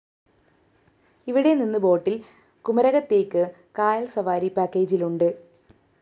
ഇവിടെ നിന്ന് ബോട്ടില്‍ കുമരകത്തേയ്ക്ക് കായല്‍ സവാരി പാക്കേജിലുണ്ട്